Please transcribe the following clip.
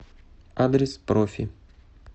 адрес профи